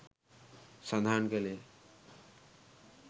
සඳහන් කලේ